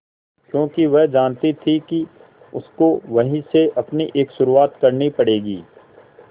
क्योंकि वह जानती थी कि उसको वहीं से अपनी एक शुरुआत करनी पड़ेगी